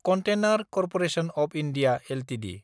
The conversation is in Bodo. container corporation of India Ltd